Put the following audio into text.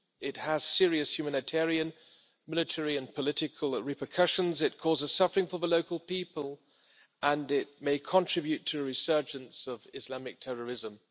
It has serious humanitarian, military and political repercussions, it causes suffering for the local people and it may contribute to a resurgence of Islamic terrorism.